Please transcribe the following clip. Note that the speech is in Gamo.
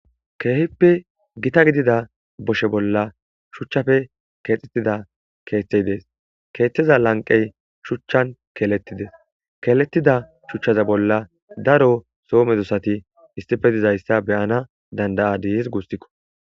Keehippe gita gidida boshe bolla shuchchafe keexxettida keeththey dees keeththeza lanqey shuchchan keeletidees keletida shuchchaza bolla daro soomedosati istife dizayssa beyana dandayadiis gustikko.